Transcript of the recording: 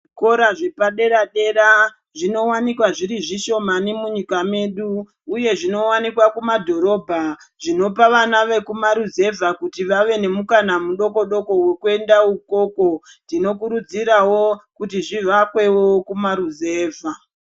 Zvikora zvepa dera dera zvinowanikwa z iri zvishomani munyika yedu uye zvinowanikwa kumadhorobha zvinopa vana vekuma ruzevha kuti vave nemukana mudoko doko wokuendawo ikoko tinokurudzirawo kuti zvihakwewo kumaruzevha.